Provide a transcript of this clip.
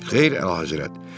Xeyr, əlahəzrət.